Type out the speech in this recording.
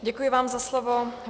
Děkuji vám za slovo.